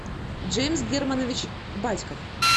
джеймс германович батьков